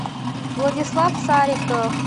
владислав сариков